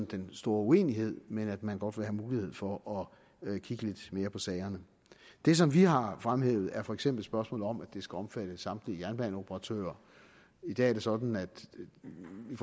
den store uenighed men at man godt vil have mulighed for at kigge lidt mere på sagerne det som vi har fremhævet er for eksempel spørgsmålet om at det skal omfatte samtlige jernbaneoperatører i dag er det sådan at man i